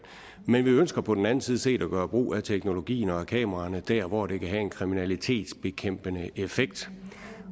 men vi ønsker på den anden side set at gøre brug af teknologien og at kameraerne der hvor de kan have en kriminalitetsbekæmpende effekt